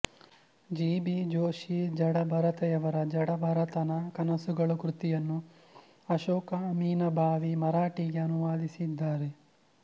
G B ಜೋಶಿಜಡಭರತಯವರ ಜಡಭರತನ ಕನಸುಗಳು ಕೃತಿಯನ್ನು ಅಶೋಕ ಅಮಿನಭಾವಿ ಮರಾಠಿಗೆ ಅನುವಾದಿಸಿದ್ದಾರೆ